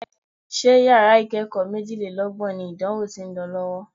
Ṣé yàrá ìkẹ́kọ̀ọ́ méjìlélọ́gbọ̀n ni ìdánwò tí ń lọ lọ́wọ́?